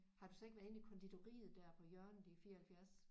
Har du så ikke været inde i konditoriet der på hjørnet i 74